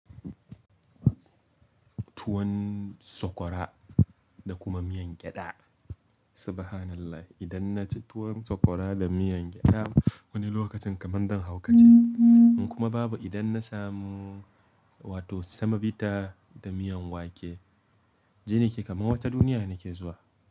Tuwon sokora da kuma miyan gyada. Subhanallah! Idan na ci tuwon sokora da miyan gyada wani lokacin kamar zan haukace. In kuma babu idan na samu wato semobita da miyan wake, jini ke kamar wata duniya nake zuwa.